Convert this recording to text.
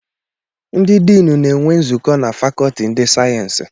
Ndị diinu na-enwe nzukọ na fakọọti ndị sayensị.